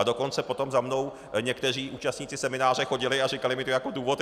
A dokonce potom za mnou někteří účastníci semináře chodili a říkali mi to jako důvod.